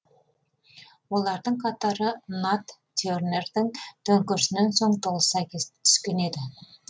олардың қатары нат тернердің төңкерісінен соң толыса түскен еді